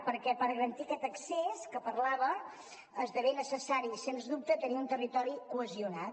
perquè per garantir aquest accés que parlava esdevé necessari sens dubte tenir un territori cohesionat